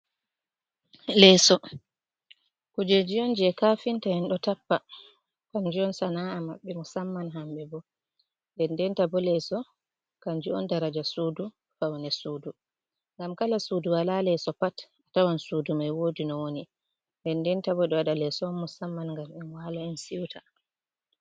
Leeso, kujeji on jei kafinta en ɗo tappa kamju on sana’a maɓɓe, musamman hamɓe bo. Ndendenta bo leso kanju on daraja sudu, faune sudu. Ngam kala sudu walaa leeso pat, tawan sudu mai woodi no woni. Ndendenta bo ɗo waɗa leeso on musamman ngam en wala, en siuta.